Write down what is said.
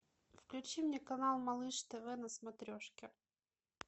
включи мне канал малыш тв на смотрешке